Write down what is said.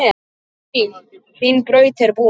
Hvíl, þín braut er búin.